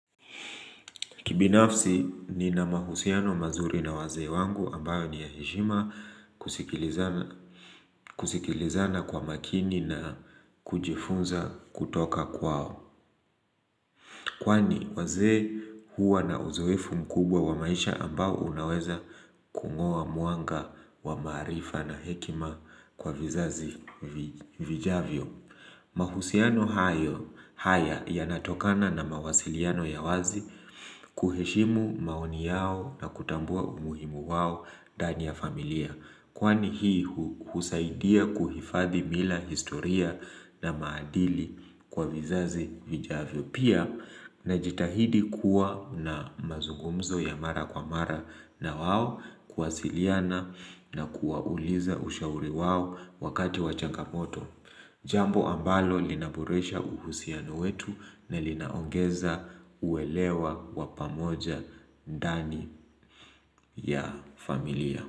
Kibinafsi nina mahusiano mazuri na wazee wangu ambayo ni ya heshima, kusikilizana kusikilizana kwa makini na kujifunza kutoka kwao. Kwani wazee huwa na uzoefu mkubwa wa maisha ambao unaweza kung'oa mwanga wa maarifa na hekima kwa vizazi vijavyo. Mahusiano haya yanatokana na mawasiliano ya wazi kuheshimu maoni yao na kutambua umuhimu wao ndani ya familia. Kwani hii husaidia kuhifadhi mila historia na maadili kwa vizazi vijavyo Pia najitahidi kuwa na mazungumzo ya mara kwa mara na wao kuwasiliana na kuwauliza ushauri wao wakati wa changamoto Jambo ambalo linaboresha uhusiano wetu na linaongeza uwelewa wa pamoja ndani ya familia.